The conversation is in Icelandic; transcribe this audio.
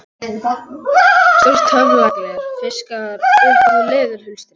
Stórt töfragler fiskað upp úr leðurhulstri